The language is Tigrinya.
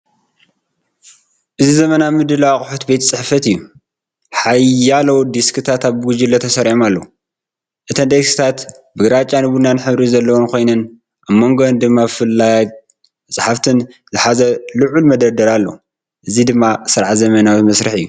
እዚ ዘመናዊ ምድላው ኣቑሑት ቤት ጽሕፈት እዩ። ሓያሎ ዴስክታት ብጉጅለ ተሰሪዖም ኣለዉ። እተን ዴስክታት ግራጭን ቡናውን ሕብሪ ዘለወን ኮይነን፡ ኣብ መንጎአን ድማ ፋይላትን መጻሕፍትን ዝሕዝ ልዑል መደርደሪ ኣሎ። እዚ ድማ ስርዓትን ዘመናዊ ስራሕን እዩ።